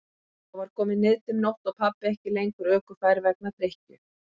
Þá var komin niðdimm nótt og pabbi ekki lengur ökufær vegna drykkju.